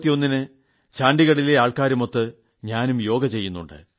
June 21 ന് ചണ്ഡിഗഡിലെ ആൾക്കാരുമൊത്ത് ഞാനും യോഗ ചെയ്യുന്നുണ്ട്